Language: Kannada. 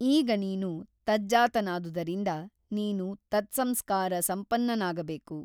ಈಗ ನೀನು ತಜ್ಜಾತನಾದುದರಿಂದ ನೀನು ತತ್ಸಂಸ್ಕಾರ ಸಂಪನ್ನನಾಗಬೇಕು.